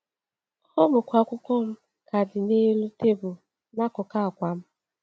Ọ bụkwa akwụkwọ m ka dị n’elu tebụl n’akụkụ akwa m!